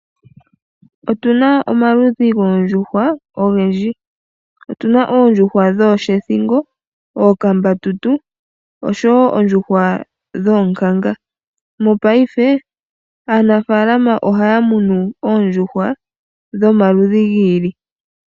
Otuna omaludhi goondjuhwa ogendji ngaashi oshethingo, ookambatutu oshowo oonkanga. Mopaife aanafalama ohaya munu oondjuhwa dhomaludhi giili.